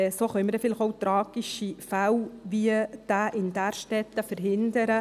So können wir vielleicht auch tragische Fälle, wie denjenigen in Därstetten, verhindern.